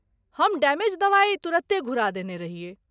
हम डैमेज दवाइ तुरते घुरा देने रहियै।